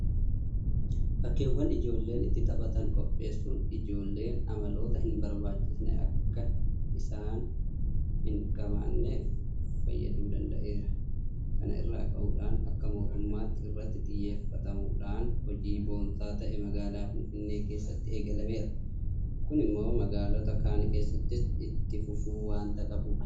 Bakkeewwan ijoolleen itti taphatan qopheessuun ijoolleen amaloota hinbarbaachisne akka isaan hinqabaanneef fayyaduu danda'eera. Kana irraa ka'uudhaan akka mootummaatti irratti xiyyeeffatamuudhaan hojiin boonsaa ta'e magaalaa Finfinnee keessatti eegalameera. Kun immoo magaalota kaan keessattis itti fufuu waanta qabudha.